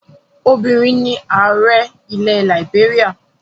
Obìnrin ni ààrẹ ilẹ̀ làìbéríà.